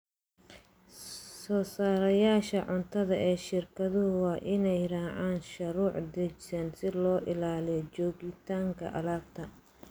Soosaarayaasha cuntada ee shirkadu waa inay raacaan shuruuc dejisan si loo ilaaliyo joogtaynta alaabta.